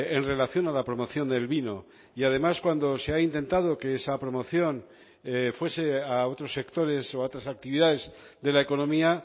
en relación a la promoción del vino y además cuando se ha intentado que esa promoción fuese a otros sectores o a otras actividades de la economía